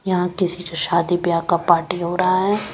यहां किसी के शादी ब्याह का पार्टी हो रहा है।